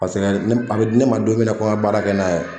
a bɛ di ne ma don min ko ne ka baara kɛ n'a ye